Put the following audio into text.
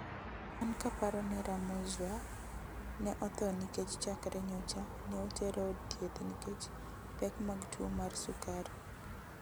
an kaparo nera Mouzaoir, ne otho nikech chakre nyocha ne otere od thieth nikech pek mag tuo mar sukari.